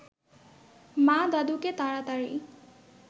মা দাদুকে তাড়াতাড়ি